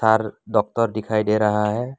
चार डॉक्टर दिखाई दे रहा है।